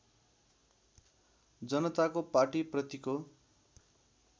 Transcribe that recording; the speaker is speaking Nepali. जनताको पाटी प्रतिको